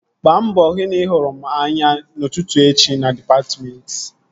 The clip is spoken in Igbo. Gbaa mbọ hụ na ị hụrụ m anya n'ụtụtụ echi na dịpatmentị!